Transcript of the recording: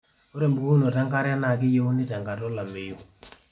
ore embukokinoto enkare keyieunoi tenkata olameyu